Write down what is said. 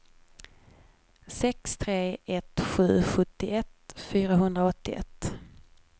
sex tre ett sju sjuttioett fyrahundraåttioett